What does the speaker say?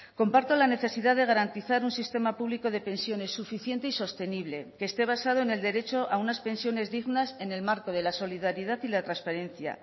comparto la necesidad de garantizar un sistema público de pensiones suficiente y sostenible que esté basado en el derecho a unas pensiones dignas en el marco de la solidaridad y la transparencia